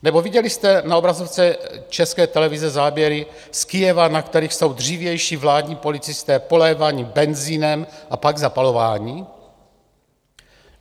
Nebo viděli jste na obrazovce České televize záběry z Kyjeva, na kterých jsou dřívější vládní policisté poléváni benzinem a pak zapalováni?